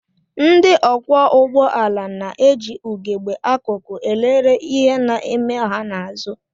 Ndị ọkwọụgbọala na-eji ugegbe akụkụ elere ihe na-eme ha n'azụ